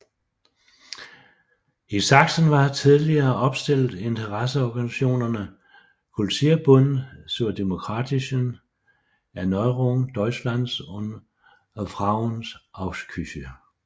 I Sachsen var tillige opstillet interesseorganisationerne Kulturbund zur demokratischen Erneuerung Deutschlands og Frauenausschüsse